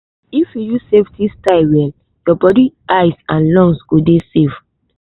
if you use safety style well your body eye and lungs go dey safe.